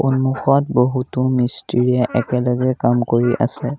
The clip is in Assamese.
সন্মুখত বহুতো মিস্ত্ৰীয়ে একেলগে কাম কৰি আছে।